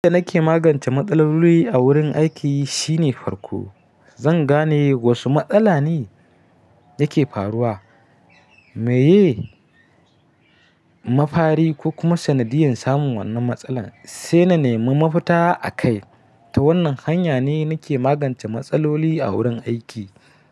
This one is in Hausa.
Hanya da nake magance matsaloli a wurin aiki shine farko, zan gane wasu matsala ne yake faruwa, meye mafari ko kuma sanadiyan samun wannan matsalar, sai na nemi mafita akai. Ta wannan hanya ne nake magance matsaloli a wurin aiki.